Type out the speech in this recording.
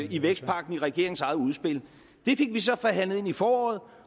i vækstpakken i regeringens eget udspil det fik vi så forhandlet ind i foråret